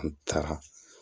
An taara